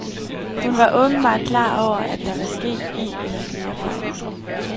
Hun var åbenbart klar over, at der var sket en eller flere fejl.